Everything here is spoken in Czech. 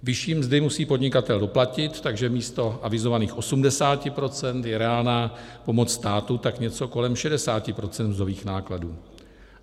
Vyšší mzdy musí podnikatel doplatit, takže místo avizovaných 80 % je reálná pomoc státu tak něco kolem 60 % mzdových nákladů.